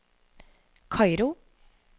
Kairo